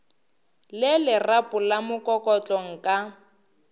le lerapo la mokokotlo nka